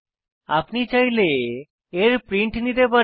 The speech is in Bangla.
আপনি চাইলে এর প্রিন্ট নিতে পারেন